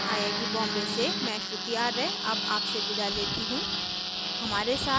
यह स्क्रिप्ट प्रभाकर द्वारा अनुवादित है आई आई टी बॉम्बे से मैं श्रुति आर्य अब आपसे विदा लेती हूँ